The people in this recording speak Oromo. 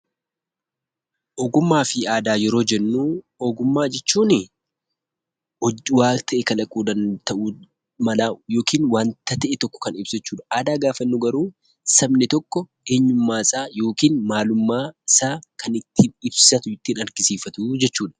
Ogummaa fi aadaa yeroo jennuu, ogummaa jechuun hojii wayii kalaquu malaa yookiin waanta ta'e tokko , aadaa gaafa jennu garuu sabni tokko eenyummaa isaa yookiin maalummaa isaa kan ittiin ibsatu, ittiin argisiifatuu jechuudha.